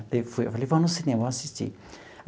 Falei, vamos no cinema, vamos assistir.